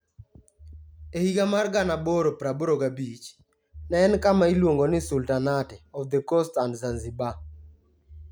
E higa mar 1885, ne en kama iluongo ni Sultanate of the Coast and Zanzibar.